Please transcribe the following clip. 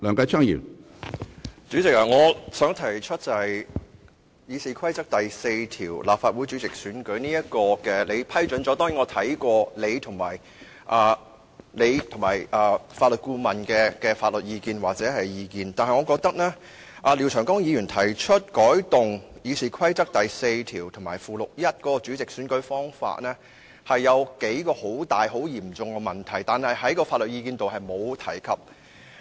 主席，你批准廖長江議員就《議事規則》第4條"立法會主席的選擧"提出的修訂建議，我參考過你和法律顧問的意見，但我認為當中對《議事規則》第42條及附表 1" 選擧立法會主席的程序"的修訂，存在幾個很嚴重的問題，但法律意見中並沒有提及。